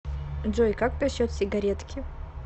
джой как насчет сигаретки